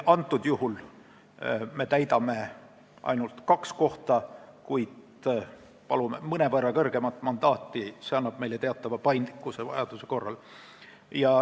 Antud juhul me täidame ainult kaks kohta, kuid palume mõnevõrra kõrgemat mandaati, sest see annab meile vajaduse korral teatava paindlikkuse.